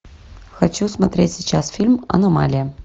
хочу смотреть сейчас фильм аномалия